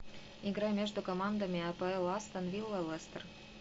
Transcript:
игра между командами апл астон вилла лестер